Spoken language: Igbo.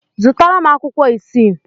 Zụtara m akwụkwọ isii.